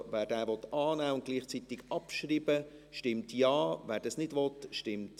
Also: Wer diesen Punkt annehmen und gleichzeitig abschreiben will, stimmt Ja, wer das nicht will, stimmt Nein.